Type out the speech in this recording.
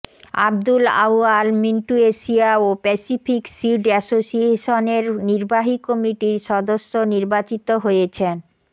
Abdul Awal Mintu Asia ও Pacific seed অ্যাসোসিয়েশনের নির্বাহী কমিটির সদস্য নির্বাচিত হয়েছেন